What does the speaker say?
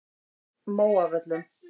Móavöllum